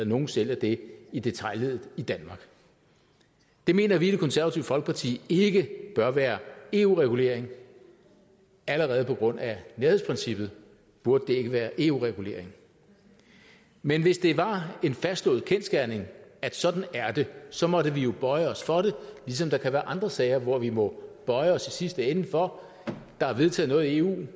nogen sælger det i detailleddet i danmark det mener vi i det konservative folkeparti ikke bør være eu reguleret allerede på grund af nærhedsprincippet burde det ikke være eu reguleret men hvis det var en fastslået kendsgerning at sådan er det så måtte vi bøje os for det ligesom der kan være andre sager hvor vi må bøje os i sidste ende for at der er vedtaget noget i eu